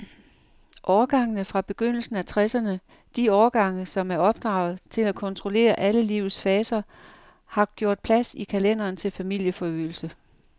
Årgangene fra begyndelsen af tresserne, de årgange, som er opdraget til at kontrollere alle livets faser, har gjort plads i kalenderen til familieforøgelse.